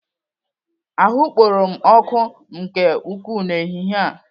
Ahụ kporo m ọkụ nke ukwuu n'ehihie a.